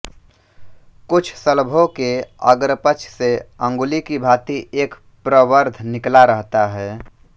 कुछ शलभों के अग्रपक्ष से अँगुली की भाँति एक प्रवर्ध निकला रहता है